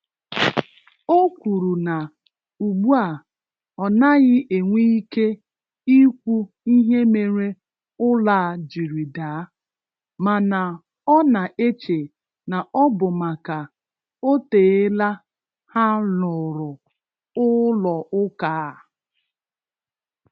O kwuru na ugbua ọ naghị enwe ike Ịkwụ ihe mere ụlọ a jiri daà, mana ọ na-eche na ọ bụ maka oteela ha lụrụ ụlọụka a.